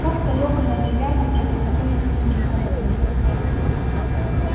как-то лёха на этой ярмарке познакомился с мужиком одним